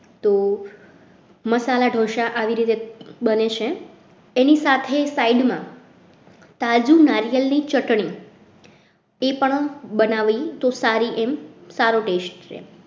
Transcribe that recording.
તો મસાલા ઢોસા આવી રીતે બને છે એની સાથે side માં તાજુ નારિયેળની ચટણી એ પણ બનાવીએ તો સારી સારો test છે.